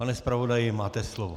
Pan zpravodaji, máte slovo.